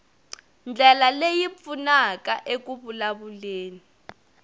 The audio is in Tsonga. ndlela leyi pfunaka eku vulavuleni